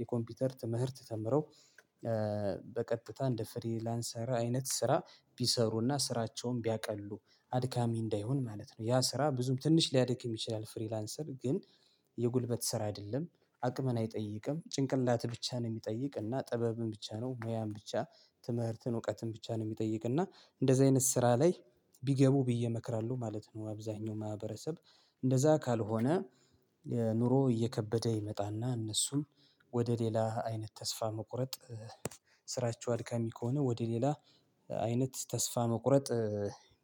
የኮምፒውተር ትምህርት ተምረው በቀጥታ እንደ ፍሪላንሰር አይነት ስራ ቢሰሩና ስራቸውን ቢያቀሉ አድካሚ እንዳይሆን ማለት ነው። ያ ስራ ብዙም ትንሽ ሊያድክም ይችላል ፍሪላንሰር ግን የጉልበት ስራ አይደለም። አቅምን አይጠይቅም ጭንቅላት ብቻ ነው የሚጠይቅ እና ጥበብን ብቻ ነው ሙያን ብቻ ትምህርትን እውቀትን ብቻ ነው የሚጠይቅ። እና እንደዚህ አይነት ስራ ላይ ቢገቡ ብዬ እመክራለሁ ማለት ነው። አብዛኛው ማህበረሰብ እንደዛ ካልሆነ ኑሮ እየከበደ ይመጣና እነሱም ወደ ሌላ አይነት ተስፋ መቁረጥ ስራቸው አልካሚ ከሆነ ወደ ሌላ አይነት ተስፋ መቁረጥ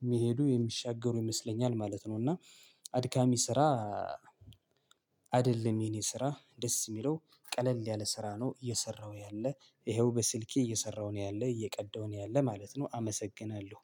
የሚሄዱ የሚሻገሩ ይመስለኛል ማለት ነው። እና አድካሚ ስራ አይደለም። የኔ ስራ ደስ የሚለው ቀለል ያለ ስራ ነው። እየሰራሁ ያለ ይኸው በስልኬ እየሰራሁ ነው ያለ እየቀዳሁ ነው ያለ ማለት ነው። አመሰግናለሁ